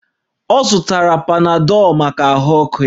Ọ zụtara panadọlụ maka ahụ ọkụ ya